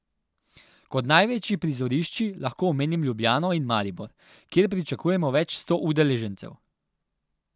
Kot največji prizorišči lahko omenim Ljubljano in Maribor, kjer pričakujemo več sto udeležencev.